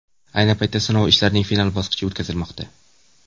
Ayni paytda sinov ishlarining final bosqichi o‘tkazilmoqda.